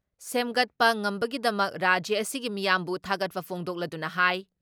ꯁꯦꯝꯒꯠꯄ ꯉꯝꯕꯒꯤꯗꯃꯛ ꯔꯥꯖ꯭ꯌ ꯑꯁꯤꯒꯤ ꯃꯤꯌꯥꯝꯕꯨ ꯊꯥꯒꯠꯄ ꯐꯣꯡꯗꯣꯛꯂꯗꯨꯅ ꯍꯥꯏ